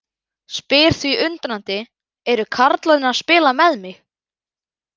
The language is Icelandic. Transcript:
Spyr því undrandi: Eru karlarnir að spila með mig?